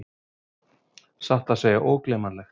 Satt að segja ógleymanlegt!